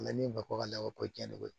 Na ni bakɔ ka labɔ ko diɲɛn ko ye koyi